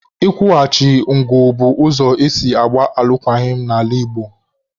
Ị kwụchaghị ngụ bụ ụzọ esi agba alụkwaghịm n'ala Igbo